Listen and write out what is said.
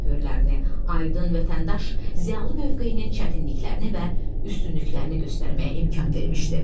Öhürlərini, Aydın Vətəndaş ziyaılı mövqeyinin çətinliklərini və üstünlüklərini göstərməyə imkan vermişdi.